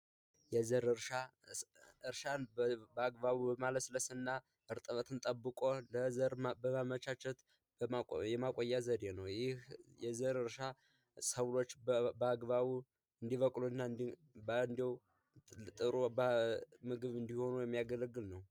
የዘር እርሻን በአግባቡ በማለስለስና እርጥበቱን አስጠብቆ በአግባቡ ለዘር በማመቻቸት የማቆያ ዘዴ ነው። ይህ የዘር እርሻ ሰብሎች በአግባቡ እንዲበቅሉ እና እንዲሁም ጥሩ ምግብ እንዲሆኑ የሚያገለግል ነው።